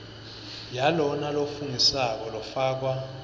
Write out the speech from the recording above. yalona lofungisako yafakwa